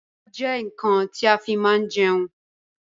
Abọ́ jẹ́ nkan ti a fi máa ń jẹun